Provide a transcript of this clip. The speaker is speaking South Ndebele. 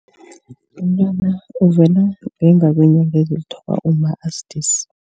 Umtwana uvela ngemva kweenyanga ezilithoba umma asidisi.